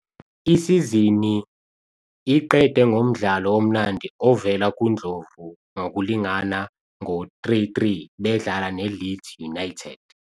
Isizini iqede ngomdlalo omnandi ovela kuNdlovu ngokulingana ngo 3-3 bedlala neLeeds United.